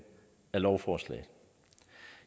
af lovforslaget